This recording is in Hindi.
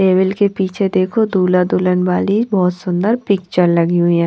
टेबिल के पीछे देखो दूल्हा दुल्हन वाली बहोत सुंदर पिक्चर लगी हुई है।